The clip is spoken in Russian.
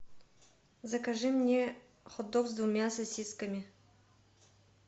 закажи мне хот дог с двумя сосисками